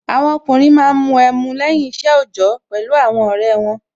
Àwọn ọkùnrin Yoruba máa ń mu ẹmu lẹ́yìn isẹ ojọ pẹ̀lú àwọn ọrẹ won